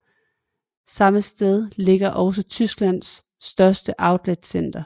Samme sted ligger også Tysklands største outletcenter